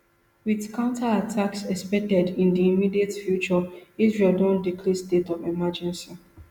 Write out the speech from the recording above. wit counterattacks expected in di immediate future israel don declare state of emergency